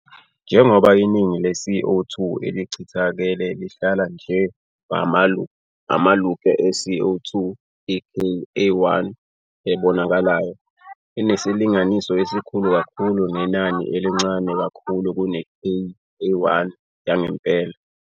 Njengoba iningi le-CO 2 elichithakele lihlala njengamamolekyu e-CO 2, i- "K" a1, ebonakalayo, inesilinganiso esikhulu kakhulu nenani elincane kakhulu kune- "K" a1 yangempela.